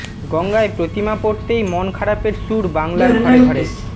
গঙ্গায় প্রতিমা পড়তেই মন খারাপের সুর বাংলার ঘরে ঘরে